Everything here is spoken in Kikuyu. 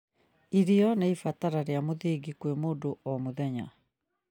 Irio nĩ ibatara rĩa mũthingi kwĩ mũndũ o mũthenya